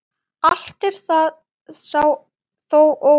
Allt er það þó óvíst.